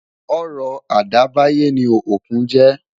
Ọrọ̀ àdáyébá ni òkun jẹ́.